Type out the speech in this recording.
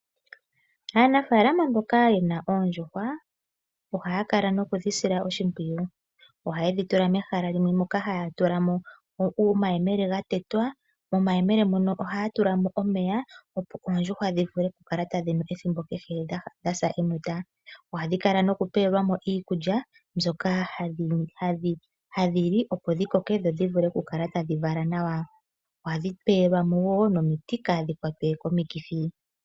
Aanafaalama mboka yena oondjuhwa, ohaya kala nokudhisila oshimpwiyu. Oha yedhi tula mehala limwe moka haya tulamo omayemele ga tetwa, momayemele mono ohaya tulamo omeya opo oondjuhwa dhi vule okukala tadhi nu ethimbo kehe dha sa enota. Ohadhi kala nokupewelwamo iikulya mbyoka hadhi li opo dhi koke dho dhi vule okukala tadhi vala nawa. Ohadhi pewelwamo wo nomiti kadhi kwatwe komikithi.